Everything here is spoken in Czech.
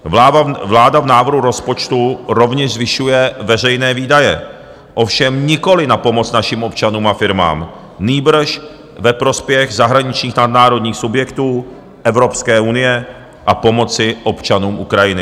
Vláda v návrhu rozpočtu rovněž zvyšuje veřejné výdaje, ovšem nikoliv na pomoc našim občanům a firmám, nýbrž ve prospěch zahraničních nadnárodních subjektů Evropské unie a pomoci občanům Ukrajiny.